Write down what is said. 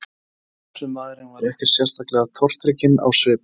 En afgreiðslumaðurinn var ekkert sérlega tortrygginn á svipinn.